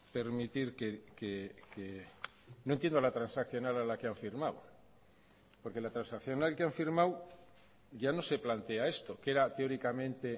permitir que no entiendo la transaccional a la que han firmado porque la transaccional que han firmado ya no se plantea esto que era teóricamente